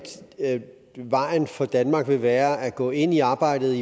vejen for danmark vil være at gå ind i arbejdet